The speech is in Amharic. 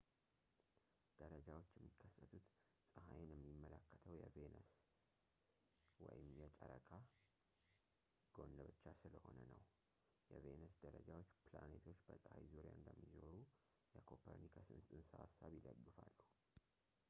ደረጃዎች የሚከሰቱት ፀሐይን የሚመለከተው የቬነስ ወይም የጨረቃ ጎን ብቻ ስለሆነ ነው። የቬነስ ደረጃዎች ፕላኔቶች በፀሐይ ዙሪያ እንደሚዞሩ የኮፐርኒከስን ፅንሰ-ሀሳብ ይደግፋሉ